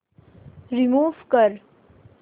remove कर